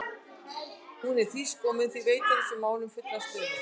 Hún er þýsk og mun því veita þessu máli fullan stuðning.